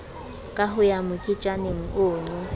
ka ho ya moketjaneng ono